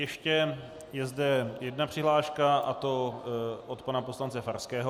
Ještě je zde jedná přihláška, a to od pana poslance Farského.